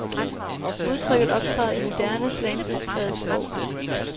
Udtrykket optræder i moderne, slangpræget sprog.